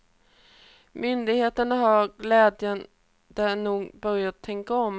Myndigheterna har glädjande nog börjat tänka om.